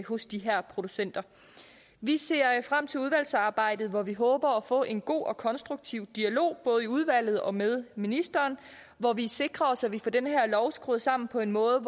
hos de her producenter vi ser frem til udvalgsarbejdet hvor vi håber at få en god og konstruktiv dialog både i udvalget og med ministeren hvor vi sikrer os at vi får den her lov skruet sammen på en måde